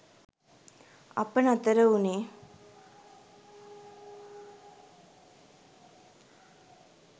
අප නතර වුණේ